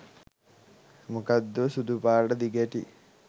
මොකක්දෝ සුදු පාට දිගැටි